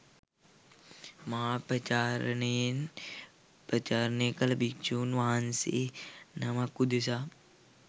මහා පවාරණයෙන් පවාරණය කළ භික්ෂූන් වහන්සේ නමක් උදෙසා